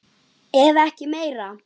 Ef ekki meira.